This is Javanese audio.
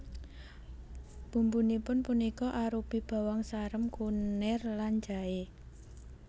Bumbunipun punika arupi bawang sarem kunir lan jaé